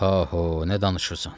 Pa-ho, nə danışırsan?